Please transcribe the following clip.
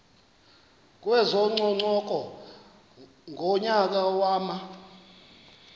kwezococeko ngonyaka wama